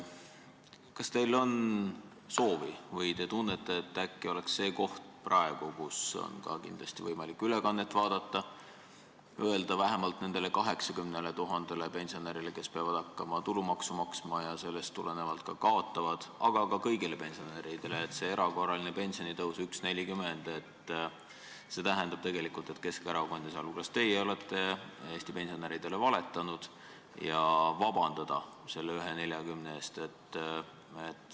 Kas teil on soovi või kas te tunnete, et äkki oleks see õige koht – praegu, kui inimestel on võimalik ülekannet vaadata – öelda vähemalt nendele 80 000 pensionärile, kes peavad hakkama tulumaksu maksma ja sellest tulenevalt kaotavad, aga ka kõigile pensionäridele, et see erakorraline pensionitõus 1,40 tähendab, et Keskerakond ja sealhulgas teie olete Eesti pensionäridele valetanud, ja paluda selle 1,40 pärast vabandust?